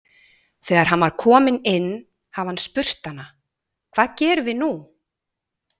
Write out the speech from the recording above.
Þegar hann var kominn inn hafi hann spurt hana: Hvað gerum við nú?